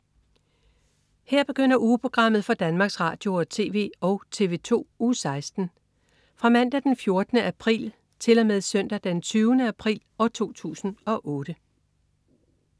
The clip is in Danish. Her begynder ugeprogrammet for Danmarks Radio- og TV og TV2 Uge 16 Fra Mandag den 14. april 2008 Til Søndag den 20. april 2008